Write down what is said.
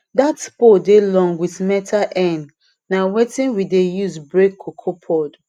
that pole dey long with metal end na wetin we dey use break cocoa pod